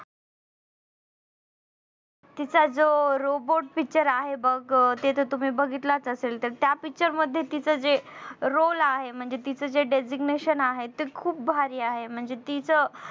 तिचा जो robot picture आहे बघ ते तर तुम्ही बघितलंच असेल तर त्या picture मध्ये तूच जे role आहे म्हणजे तीच जे designation आहे ते खूप भारी आहे. म्हणजे तीचं